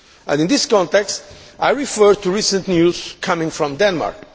In this context I refer to recent news coming from Denmark.